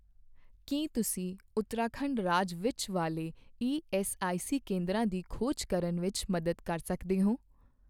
ਕੀ ਤੁਸੀਂ ਉਤਰਾਖੰਡ ਰਾਜ ਵਿੱਚ ਵਾਲੇ ਈਐੱਸਆਈਸੀ ਕੇਂਦਰਾਂ ਦੀ ਖੋਜ ਕਰਨ ਵਿੱਚ ਮਦਦ ਕਰ ਸਕਦੇ ਹੋ?